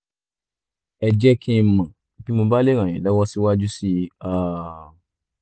ẹ jẹ́ kí n mọ̀ bí mo bá lè ràn yín lọ́wọ́ síwájú sí um i